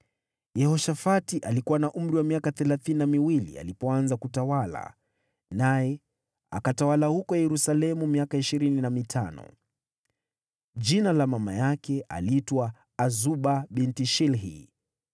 Yehoshafati alikuwa na umri wa miaka thelathini na mitano alipoanza kutawala, naye akatawala huko Yerusalemu miaka ishirini na mitano. Jina la mama yake aliitwa Azuba binti Shilhi.